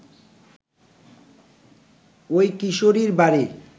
ওই কিশোরীর বাড়ি